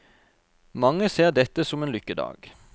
Mange ser dette som en lykkedag.